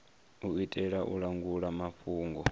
u itela u langula mafhungo